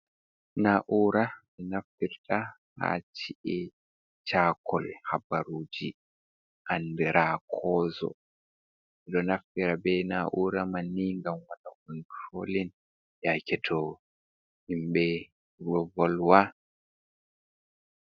Naa'uura mi nafirta haa ci'e e caakol habaruuji andiraa koozo, ɗo naffira bee naa'uura man ni ngam mara konturoolin yaake to himɓe ɗo volwa.